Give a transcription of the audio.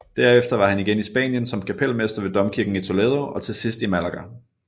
Derefter var han igen i Spanien som kapelmester ved domkirken i Toledo og til sidst i Malaga